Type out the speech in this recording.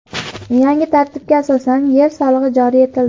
Yangi tartibga asosan yer solig‘i joriy etildi.